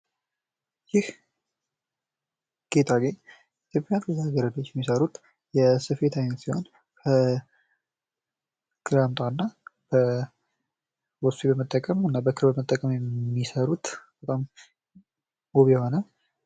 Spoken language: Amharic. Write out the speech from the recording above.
ይህ ጌጣጌጥ ልጃ ገረዶች የሚሰሩት የስፌት አይነት ሲሆን ግራምጣ እና ወስፌ በመጠቀም እና ክር በመጠቀም የሚሰሩት በጣም ውብ የሆነ ።